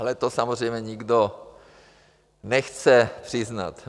Ale to samozřejmě nikdo nechce přiznat.